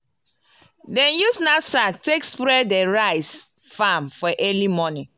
dem use knapsak take spray the rice farm for early morning.